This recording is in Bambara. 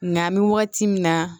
Nka an bɛ wagati min na